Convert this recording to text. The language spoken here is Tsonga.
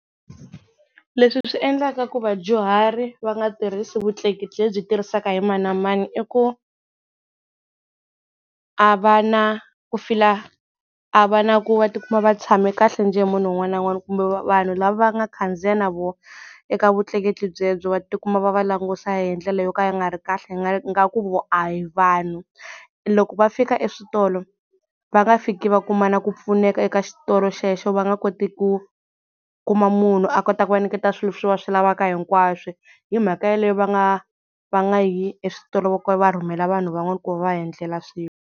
Leswi swi endlaka ku vadyuhari va nga tirhisi vutleketli lebyi tirhisaka hi mani na mani i ku a va na ku feel-a a va na ku va tikuma va tshame kahle njhe hi munhu un'wana na un'wana kumbe vanhu lava va nga khandziya na voho eka vutleketli byebyo va tikuma va va langusa hi ndlela yo ka yi nga ri kahle hi nga ku vona a hi vanhu loko va fika eswitolo va nga fiki va kuma na ku pfuneka eka xitolo xexo va nga koti ku kuma munhu a kota ku va nyiketa swilo leswi va swi lavaka hinkwaswo, hi mhaka yeleyo va nga va nga yi eswitolo loko va rhumela vanhu van'wana ku va va endlela swilo.